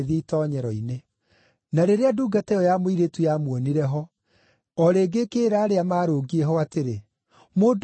Na rĩrĩa ndungata ĩyo ya mũirĩtu yamuonire ho, o rĩngĩ ĩkĩĩra arĩa maarũngiĩ ho atĩrĩ, “Mũndũ ũyũ nĩ ũmwe wao.”